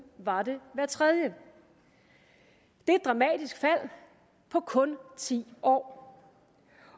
var det hver tredje det er et dramatisk fald på kun ti år